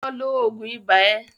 lọ lo oògùn ibá ẹ!